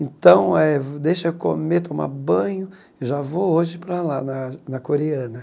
Então, eh deixa eu comer, tomar banho, já vou hoje para lá, na na coreana.